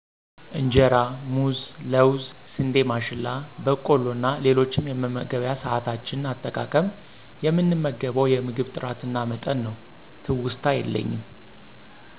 እንጀራ: ሙዝ : ለውዝ : ስንዴ ማሽላ :በቆሎ እና ሌሎችም የመመገቢያ ሰዓታችን አጠቃቀም :የምንመገበው የምግብ ጥራትና መጠን ነው። ትውስታ የለኝም